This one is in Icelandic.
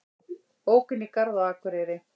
Ók inn í garð á Akureyri